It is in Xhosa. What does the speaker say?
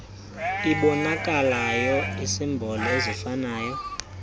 iboonakalayo iisimboli azifani